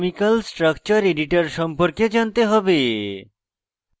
gchempaint chemical structure editor সম্পর্কে জানতে হবে